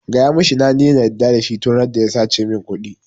Gaya mishi na daina yarda da shi tun randa ya sace min ƙudi